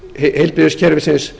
grunnþjónustu heilbrigðiskerfisins